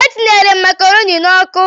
E tinyere m macaroni n'ọkụ?